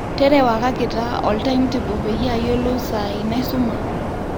terewakaki taa oltime table peyie ayiolou saai naisuma